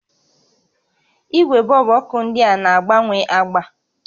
Igwe bọọlbụ ọkụ ndịa na-agbanwe agba